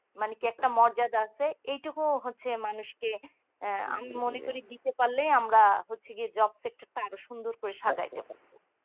মানে কি একটা মর্যাদা এই টুকু হচ্ছে মানুষকে আমি মনে করি দিতে পারলেই আমরা job sector টা আমরা আরো সুন্দর করে সাজাইতে পারবো